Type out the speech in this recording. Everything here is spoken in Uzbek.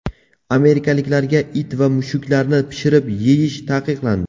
Amerikaliklarga it va mushuklarni pishirib yeyish taqiqlandi.